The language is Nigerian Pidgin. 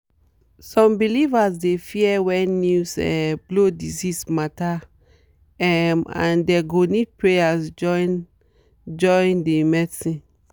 some believers dey fear when news um blow disease matter um and dem go need prayers join join the medicine.